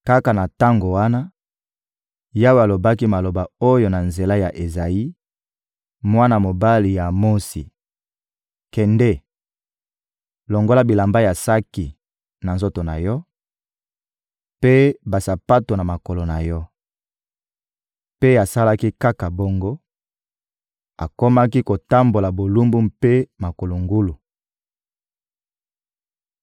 kaka na tango wana, Yawe alobaki maloba oyo na nzela ya Ezayi, mwana mobali ya Amotsi: «Kende, longola bilamba ya saki na nzoto na yo, mpe basapato na makolo na yo.» Mpe asalaki kaka bongo; akomaki kotambola bolumbu mpe makolo ngulu.